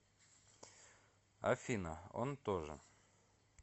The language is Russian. афина он тоже